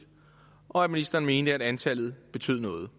og at ministeren mener at antallet betyder noget